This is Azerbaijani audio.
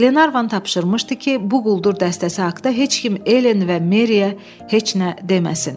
Qlenarvan tapşırmışdı ki, bu quldur dəstəsi haqta heç kim Elen və Meriyə heç nə deməsin.